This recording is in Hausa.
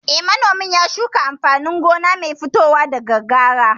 Eh, manomin ya shuka amfanin gona mai fitowa daga kara